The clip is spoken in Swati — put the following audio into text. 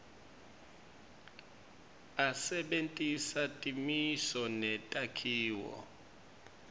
asebentisa timiso netakhiwo